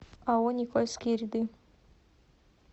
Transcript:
ао никольские ряды